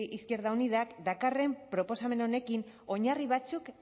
izquierda unidak dakarren proposamen honekin oinarri batzuk